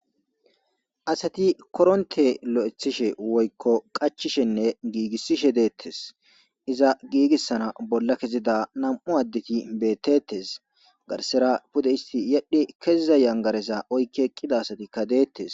asati koronte lo7ethishe woykko qachishenne giigissishe deettes iza giigissana bolla kezida nam7u addeti beettettes garsera pude isti yedhi keziza yangaresa oykke qqida asatikka deettes